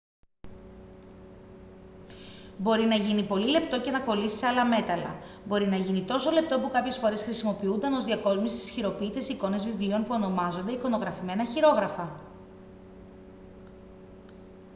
μπορεί να γίνει πολύ λεπτό και να κολλήσει σε άλλα μέταλλα. μπορεί να γίνει τόσο λεπτό που κάποιες φορές χρησιμοποιούταν ως διακόσμηση στις χειροποίητες εικόνες βιβλίων που ονομάζονται «εικονογραφημένα χειρόγραφα»